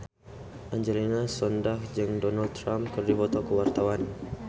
Angelina Sondakh jeung Donald Trump keur dipoto ku wartawan